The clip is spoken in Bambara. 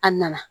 A nana